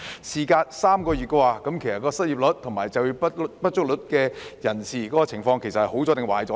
事隔3個月，失業率及就業不足率的情況是轉好了，還是變得更差呢？